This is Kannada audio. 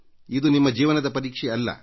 ಇದು ನಿಮ್ಮ ಜೀವನದ ಪರೀಕ್ಷೆಯಲ್ಲ